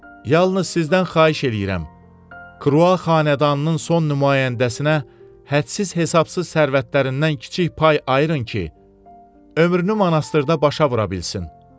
Yalnız sizdən xahiş eləyirəm, Krua xanədanının son nümayəndəsinə hədsiz hesabsız sərvətlərindən kiçik pay ayırın ki, ömrünü monastırda başa vura bilsin.